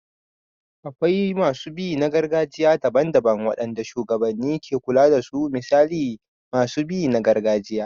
Akwai masu bi na gargajiya daban-daban waɗanda shugabanni ke kula da su misali masu bi na gargajiya.